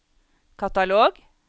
katalog